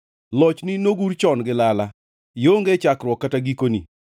Lochni nogur chon gi lala; ionge chakruokni kata gikoni.